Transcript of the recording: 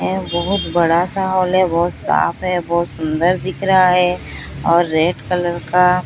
ये बहोत बड़ा सा हॉल है बहोत साफ है बहोत सुन्दर दिख रहा है और रेड कलर का--